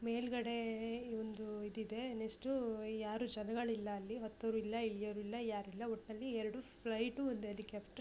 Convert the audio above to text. ಮೇಲ್ಗಡೆ ಒಂದು ಇದು ಇದೆ ಅದೆಷ್ಟು ಯಾರು ಜನಗಳು ಇಲ್ಲ ಅಲ್ಲಿ ಹತ್ತವರು ಇಲ್ಲ ಇಳಿಯವರು ಇಲ್ಲ ಯಾರು ಇಲ್ಲ. ಎರಡು ಫ್ಲೈಟ್ ಒಂದು ಹೆಲಿಕಾಪ್ಟರ್ --